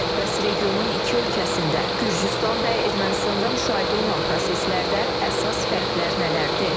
Bəs regionun iki ölkəsində, Gürcüstan və Ermənistanda müşahidə olunan proseslərdə əsas fərqlər nələrdir?